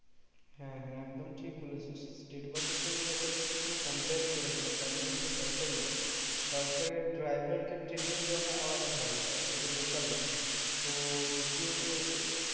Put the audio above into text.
হ্যাঁ হ্যাঁ একদম ঠিক বলেছিস state bus এর সঙ্গে local bus এর কোনো compare ই করা যায় না তার কারণ ওইটা সরকারি bus সরকারের driver কে training দেওয়া হয়ে আলাদা ভাবে আর এটা local bus তো যদিও এবার সে